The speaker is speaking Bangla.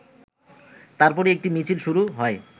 তারপরই একটি মিছিল শুরু হয়,